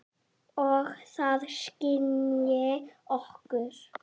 Og það skynji okkur.